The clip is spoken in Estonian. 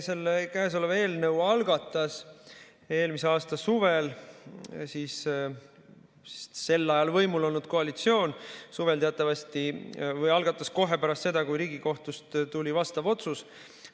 Selle käesoleva eelnõu algatas eelmise aasta suvel sel ajal võimul olnud koalitsioon teatavasti kohe pärast seda, kui Riigikohtust tuli vastav otsus.